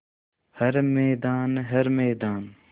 हर मैदान हर मैदान